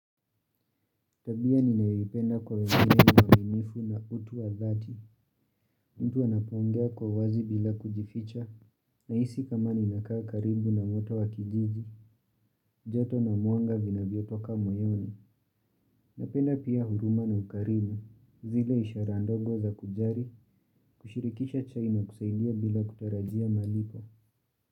Tabia ninayoipenda kwa wengine niwa uwaminifu na utu wa dhati, mtu anapongea kwa wazi bila kujificha, nahisi kama ninakaa karibu na moto wa kijiji, joto na mwnga vinavyotoka moyoni, napenda pia huruma na ukarimu, zile ishara ndogo za kujari, kushirikisha chai na kusaidia bila kutarajia malipo.